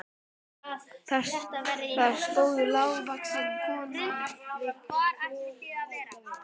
Þar stóð lágvaxin kona við kolaeldavél.